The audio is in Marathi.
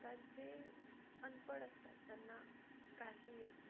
जे अनपढ असतात त्यांना काही येत नाही